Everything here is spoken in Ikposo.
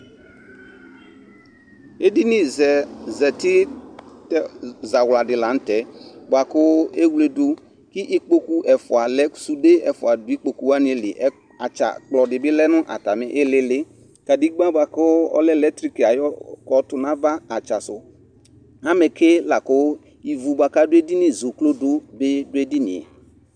ɛdini zɛzɛti zawura di lantɛ buakʋ ɛwuledu ki ikpokʋ ɛfua lɛ sudɛ ɛfua do ikpoku wani li atsa kpulor bi lɛ nu atani ilii Kadɛgba buaku ɔlɛ lectric tu nava atsa su amɛkɛ lakʋ iɣʋ baku adʋ ɛdini zɛ ʋklodʋ bi du ɛdiniɛɛ